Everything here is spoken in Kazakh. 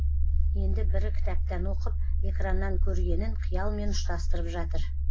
енді бірі кітаптан оқып экраннан көргенін қиялмен ұштастырып жатыр